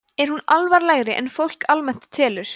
er hún alvarlegri en fólk almennt telur